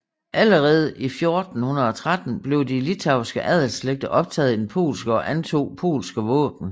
Allerede 1413 blev de litauiske adelslægter optaget i den polske og antog polske våben